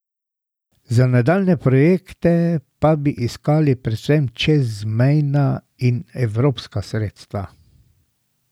Za nadaljnje projekte pa bi iskali predvsem čezmejna in evropska sredstva.